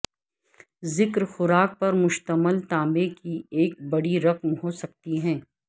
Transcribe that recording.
ذکر خوراک پر مشتمل تانبے کی ایک بڑی رقم ہو سکتی ہے